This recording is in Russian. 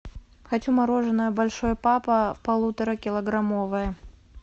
хочу мороженое большой папа полуторакилограммовое